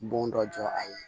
Bon dɔ jɔ a ye